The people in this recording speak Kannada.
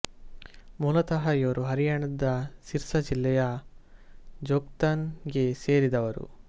ಮೂಲತಃ ಇವರು ಹರಿಯಾಣದ ಸಿರ್ಸ ಜಿಲ್ಲೆಯ ಜೋಧ್ಕನ್ ಗೆ ಸೇರಿದವರು